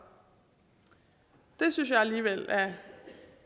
det synes jeg alligevel